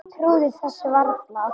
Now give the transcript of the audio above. Trúði þessu varla.